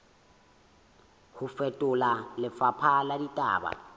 ho fetola lefapha la ditaba